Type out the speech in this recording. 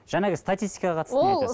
жаңағы статистикаға қатысты не айтасыз